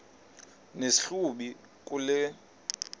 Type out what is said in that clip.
nesi hlubi kule